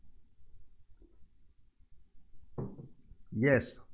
Yes